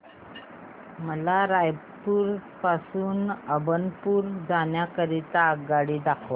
मला रायपुर पासून अभनपुर जाण्या करीता आगगाडी दाखवा